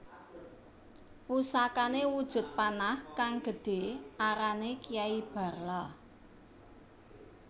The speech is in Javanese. Pusakane wujud panah kang gedhe arane Kiai Barla